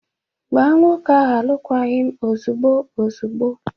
Gbaa nwoke ahụ alụkwaghị m ozugbo ozugbo!